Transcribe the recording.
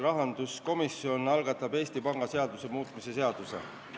Rahanduskomisjon algatab Eesti Panga seaduse muutmise seaduse.